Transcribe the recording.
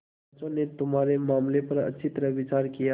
पंचों ने तुम्हारे मामले पर अच्छी तरह विचार किया